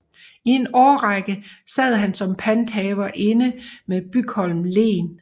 I en I årrække sad han som panthaver inde med Bygholm Len